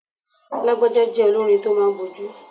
Lagbaja jẹ́ olórin tó máa ń bójú.